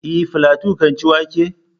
E, Falatu kan ci wake?